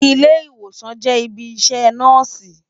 Ilé-Iwósán jè ibi iṣè Nòsi